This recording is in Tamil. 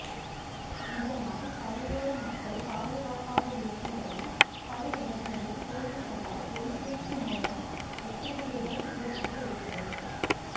இதனால் கரையோர மக்கள் பாதுகாப்பாக இருக்கும்படி பல இடங்களில் போலீஸாரால் ஒலிபெருக்கி மூலம் எச்சரிக்கைகள் விடப்பட்டு வருகிறது